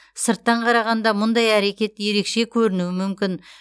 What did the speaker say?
сырттан қарағанда мұндай әрекет ерекше көрінуі мүмкін